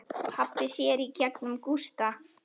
Pabbi sér í gegnum Gústa.